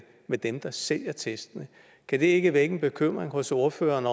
med dem der sælger testene kan det ikke vække en bekymring hos ordføreren